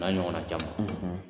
O na ɲɔgɔnna caman.